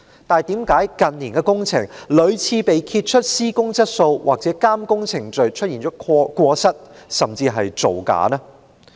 但為何近年的工程屢次被揭發施工質素或監工程序出現過失，甚至造假？